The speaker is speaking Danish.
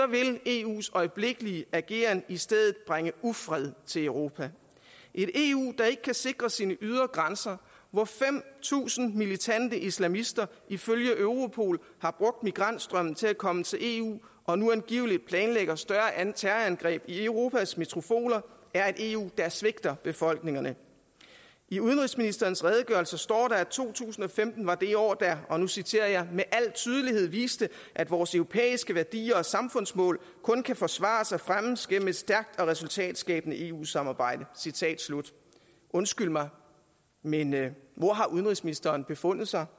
vil eus øjeblikkelige ageren i stedet bringe ufred til europa et eu der ikke kan sikre sine ydre grænser hvor fem tusind militante islamister ifølge europol har brugt migrantstrømmen til at komme til eu og nu angiveligt planlægger større terrorangreb i europas metropoler er et eu der svigter befolkningerne i udenrigsministerens redegørelse står der at to tusind og femten var det år der og nu citerer jeg med al tydelighed viste at vores europæiske værdier og samfundsmål kun kan forsvares og fremmes gennem et stærkt og resultatskabende eu samarbejde undskyld mig men hvor har udenrigsministeren befundet sig